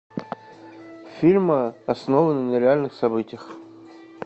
фильмы основанные на реальных событиях